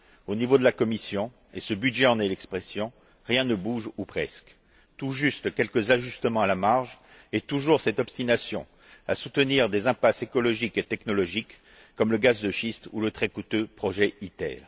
Au niveau de la Commission, et ce budget en est l'expression, rien ne bouge ou presque. On observe tout juste quelques ajustements à la marge, et toujours cette obstination à soutenir des impasses écologiques et technologiques, comme le gaz de schiste ou le très coûteux projet ITER.